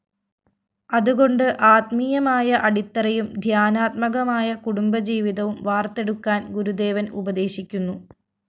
അതുകൊണ്ട് ആത്മീയമായ അടിത്തറയും ധ്യാനാത്മകമായ കുടുംബജീവിതവും വാര്‍ത്തെടുക്കാന്‍ ഗുരുദേവന്‍ ഉപദേശിക്കുന്നു